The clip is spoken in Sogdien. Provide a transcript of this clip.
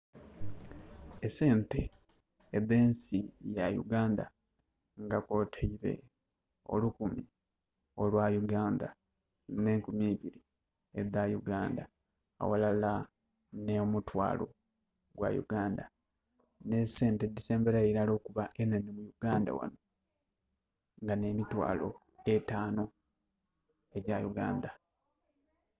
Esente edh'ensi ya Uganda nga kwotaile olukumi olwa Uganda, nh'enkumi eibiri edha Uganda, aghalala nh'omutwaalo gwa Uganda, nh'esente edhisembelayo ilala okuba enhenhe mu Uganda ghano, nga nh'emitwaalo etaanu, egya Uganda.